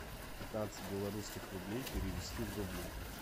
пятнадцать белорусских рублей перевести в рубли